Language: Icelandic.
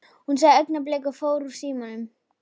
Hann sagði augnablik og fór úr símanum.